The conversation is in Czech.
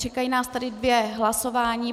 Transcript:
Čekají nás tedy dvě hlasování.